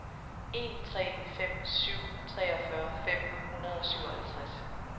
en tre fem syv treogfyrre fem hundrede og syvoghalvtreds